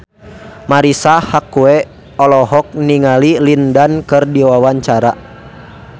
Marisa Haque olohok ningali Lin Dan keur diwawancara